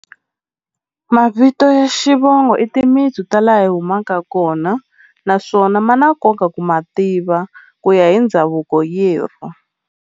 Mavito ya xivongo i timitsu ta laha hi humaka kona naswona ma na nkoka ku ma tiva ku ya hi ndhavuko yerhu.